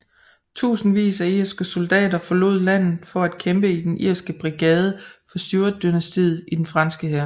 Tusindvis af irske soldater forlod landet for at kæmpe i den Irske Brigade for Stuartdynastiet i den franske hær